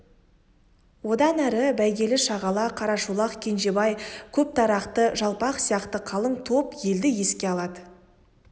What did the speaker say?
одан әрі бәйгелішағала қарашолақ кенжебай көптарақты жалпақ сияқты қалың топ елді еске алады